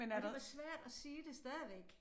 Men det var svært at sige det stadigvæk